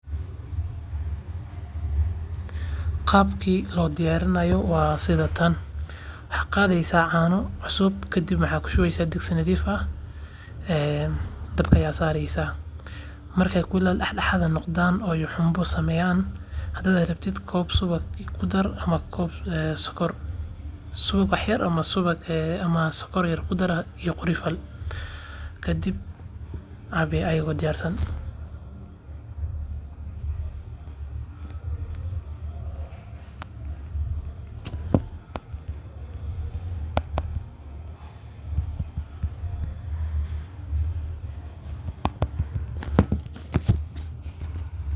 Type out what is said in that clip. Qaabki loo diyarinayo waa sidan waxa qadeysa caana cusub iyo eela marki aay buraan sokor iyo subag ayaa lagu daraa kadib waad cabi.